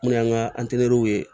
Mun y'an ka ye